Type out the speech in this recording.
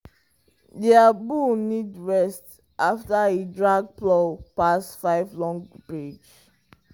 their bull need rest after e drag plow pass five long ridge.